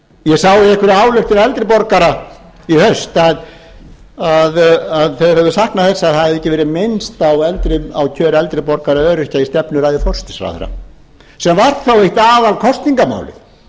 ég sagði ályktun eldri borgara í haust að þeir hefðu saknað þess að það hefði ekki verið minnst á kjör eldri borgara eða öryrkja í stefnuræðu forsætisráðherra sem var þó eitt aðalkosningamálið og